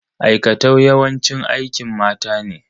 Aikatau yawanci aikin mata ne.